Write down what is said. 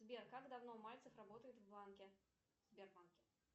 сбер как давно мальцев работает в банке в сбербанке